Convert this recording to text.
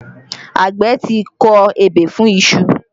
Àgbẹ̀ ti kọ ebè fún iṣu